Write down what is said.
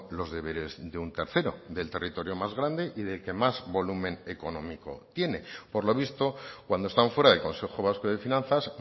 los deberes de un tercero del territorio más grande y del que más volumen económico tiene por lo visto cuando están fuera del consejo vasco de finanzas